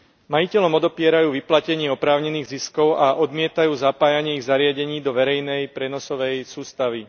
Majiteľom odopierajú vyplatenie oprávnených ziskov a odmietajú zapájanie ich zariadení do verejnej prenosovej sústavy.